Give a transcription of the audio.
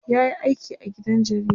yayi aiki a gidan jarida